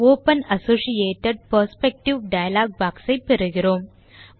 open associated perspective dialogue box ஐ பெறுகிறோம்